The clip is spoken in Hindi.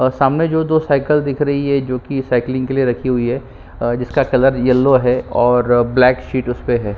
और सामने जो हैं दो साइकिल दिख रही है साइकिलिंग के लिए रखी हुई है अ जिसका कलर यलो है उसमें ब्लैक सीट उसपे हैं।